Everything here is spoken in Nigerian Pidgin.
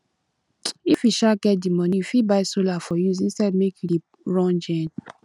if you um get di money you fit buy solar for use instead of make you dey run gen